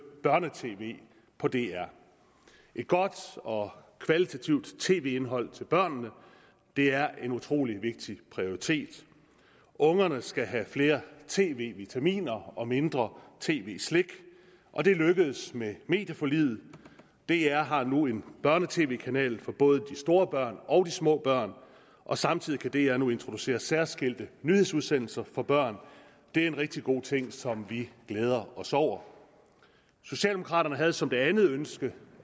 børne tv på dr et godt og kvalitativt tv indhold til børnene er en utrolig vigtig prioritet ungerne skal have flere tv vitaminer og mindre tv slik og det lykkedes med medieforliget dr har nu en børne tv kanal for både de store børn og små børn og samtidig kan dr nu introducere særskilte nyhedsudsendelser for børn det er en rigtig god ting som vi glæder os over socialdemokraterne havde som det andet ønske